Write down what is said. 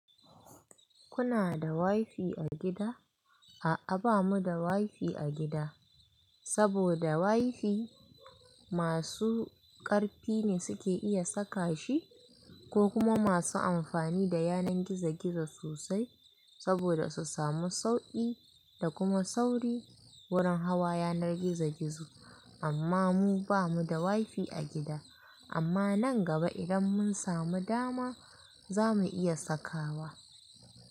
Kuna da wi fi a gida? A'a bamu da wi fi a gida, saboda wi fi masu ƙarfi ne suke iya saka shi ko kuma masu amfani da yanar gizo-gizo sosai saboda su samu sauƙi da kuma sauri wurin hawa yanar gizo-gizo. Amma mu bamu da wi fi a gida. Amma nan gaba idan mun samu dama za mu iya sakawa.